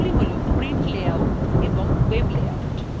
সেগুলি হল print layout এবং web layout